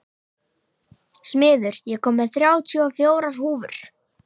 Smiður, ég kom með þrjátíu og fjórar húfur!